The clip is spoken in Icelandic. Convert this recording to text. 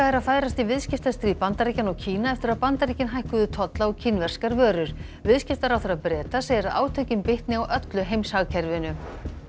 er að færast í viðskiptastríð Bandaríkjanna og Kína eftir að Bandaríkin hækkuðu tolla á kínverskar vörur viðskiptaráðherra Breta segir að átökin bitni á öllu heimshagkerfinu